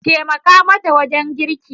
Taimake matan wajen girki!